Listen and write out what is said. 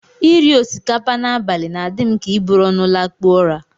Iri osikapa n'abalị na-adị m ka iburu ọnụ lakpuo ụra